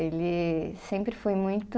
Ele sempre foi muito